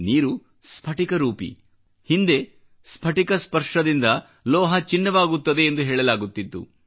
ನೀರು ಸ್ಫಟಿಕ ರೂಪಿ ಹಿಂದೆ ಸ್ಫಟಿಕ ಸ್ಪರ್ಶ ದಿಂದ ಲೋಹ ಚಿನ್ನವಾಗುತ್ತದೆ ಎಂದು ಹೇಳಲಾಗುತ್ತಿತ್ತು